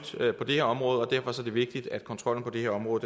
på det her område og derfor er det vigtigt at kontrollen på det her område